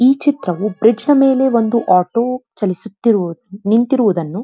ಈ ಚಿತ್ರವೂ ಬ್ರಿಜ್ ನ ಮೇಲೆ ಒಂದು ಆಟೋ ಚಲಿಸುತ್ತಿರುವುದು ನಿಂತಿರುವುದನ್ನು --